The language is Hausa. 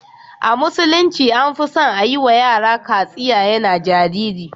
A musulunci an fi son a yi wa yara katsiya yana jariri.